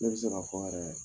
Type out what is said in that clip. Ne bɛ se k'a fɔ yɛrɛ